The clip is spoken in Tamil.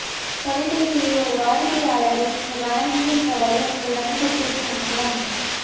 தொலைபேசியில் ஒரு வாடிக்கையாளரை நீங்கள் வணங்குகின்ற வழி உங்கள் வணிகத்திற்கு முக்கியம்